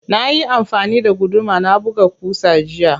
Nayi amfani da guduma na buga ƙusa jiya.